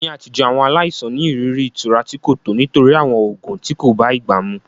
Ní àtijọ́, àwọn aláìsàn ní ìrírí ìtura tí kò tọ́ nítorí àwọn oògùn tí kò bá ìgbà mu.